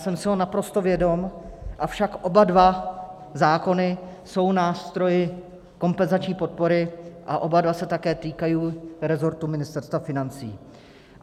Jsem si ho naprosto vědom, avšak oba dva zákony jsou nástroji kompenzační podpory a oba dva se také týkají resortu Ministerstva financí.